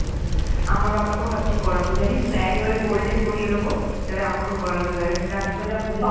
আমার বাবাকেও ভাবছি করাবো জানিস তো একেবারে গোল্ডেন করিয়ে দেবো যাতে আমাকেও করাতে দেয়, রাতের বেলা ঘুমোবে